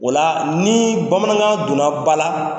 O la ni bamanankan donna ba la.